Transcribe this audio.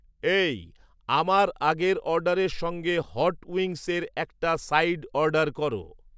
এই, আমার আগের অর্ডারের সঙ্গে হট উইংস এর একটা সাইড অর্ডার করো